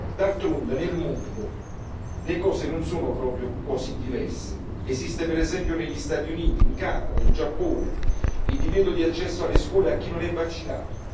D'altronde, nel mondo, le cose non sono proprio così diverse. Esiste per esempio negli Stati Uniti, in Canada e in Giappone il divieto di accesso alle scuole a chi non è vaccinato.